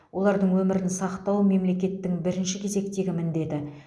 олардың өмірін сақтау мемлекеттің бірінші кезектегі міндеті